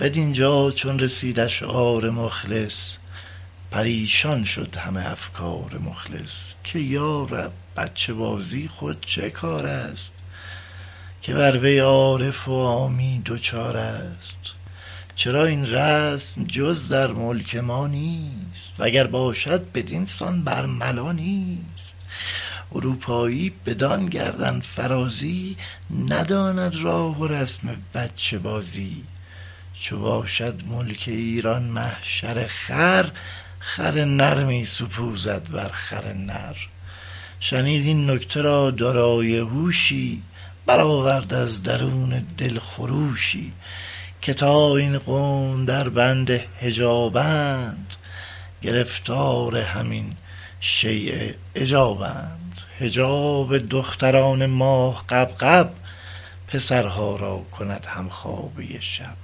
بدینجا چون رسید اشعار خالص پریشان شد همه افکار مخلص که یا رب بچه بازی خود چه کارست که بر وی عارف و عامی دچارست چرا این رسم جز در ملک ما نیست وگر باشد بدینسان برملا نیست اروپایی بدان گردن فرازی نداند راه و رسم بچه بازی چو باشد ملک ایران محشر خر خر نر می سپوزد بر خر نر شنید این نکته را دارای هوشی برآورد از درون دل خروشی که تا این قوم در بند حجابند گرفتار همین شیء عجابند حجاب دختران ماه غبغب پسرها را کند همخوابۀ شب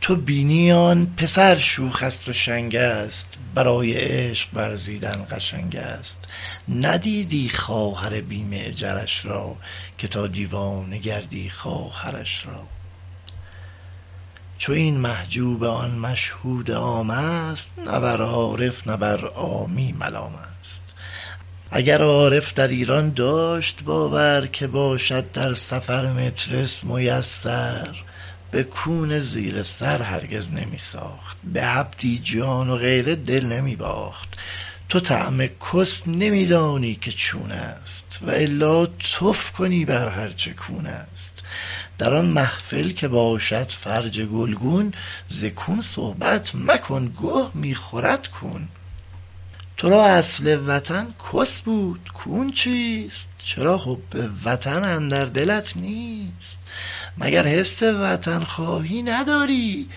تو بینی آن پسر شوخست و شنگست برای عشق ورزیدن قشنگست نبینی خواهر بی معجرش را که تا دیوانه گردی خواهرش را چو این محجوبه آن مشهود عامست نه بر عارف نه بر عامی ملامست اگر عارف در ایران داشت باور که باشد در سفر مترس میسر به کون زیر سر هرگز نمی ساخت به عبدی جان و غیره دل نمی باخت تو طعم کس نمیدانی که چونست والا تف کنی بر هر چه کونست در آن محفل که باشد فرج گلگون ز کون صحبت مکن گه میخورد کون ترا اصل وطن کس بود کون چیست چرا حب وطن اندر دلت نیست مگر حس وطن خواهی نداری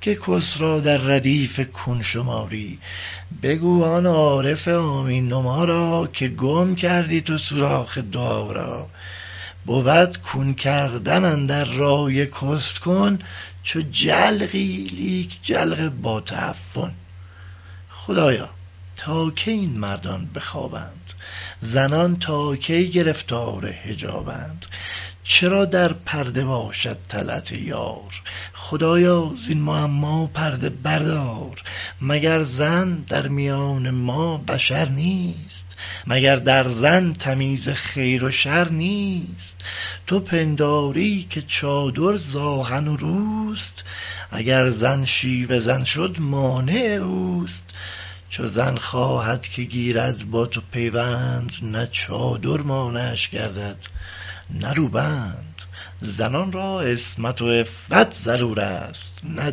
که کس را در ردیف کون شماری بگو آن عارف عامی نما را که گم کردی تو سوراخ دعا را بود کون کردن اندر رأی کس کن چو جلقی لیک جلق با تعفن خدایا تا کی این مردان به خوابند زنان تا کی گرفتار حجابند چرا در پرده باشد طلعت یار خدایا زین معما پرده بردار مگر زن در میان ما بشر نیست مگر زن در تمیز خیر و شر نیست تو پنداری که چادر ز آهن و روست اگر زن شیوه زن شد مانع اوست چو زن خواهد که گیرد با تو پیوند نه چادر مانعش گردد نه روبند زنان را عصمت و عفت ضرورست نه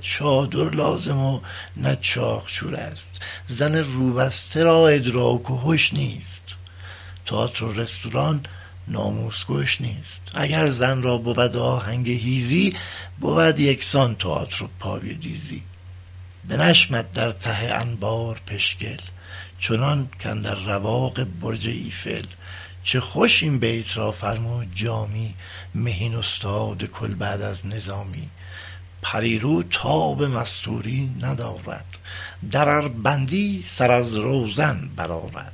چادر لازم و نه چاقچورست زن روبسته را ادراک و هش نیست تآتر و رستوران ناموس کش نیست اگر زن را بود آهنگ چیزی بود یکسان تآتر و پای دیزی بنشمد در ته انبار پشگل چنان کاندر رواق برج ایفل چه خوش این بیت را فرمود جامی مهین استاد کل بعد از نظامی پری رو تاب مستوری ندارد در ار بندی سر از روزن درآرد